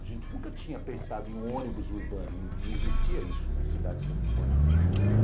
A gente nunca tinha pensado em um ônibus urbano, não existia isso nas cidades que a gente morava.